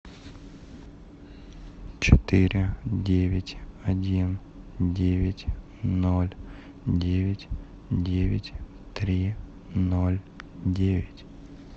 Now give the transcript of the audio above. четыре девять один девять ноль девять девять три ноль девять